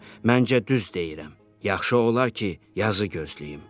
Məncə düz deyirəm, yaxşı olar ki, yazı gözləyim.